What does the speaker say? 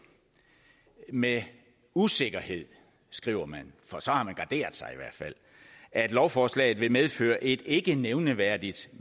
med usikkerhed skriver man for så har man garderet sig at lovforslaget vil medføre et ikke nævneværdigt